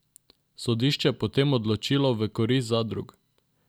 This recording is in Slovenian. Sodišče je potem odločilo v korist zadrug.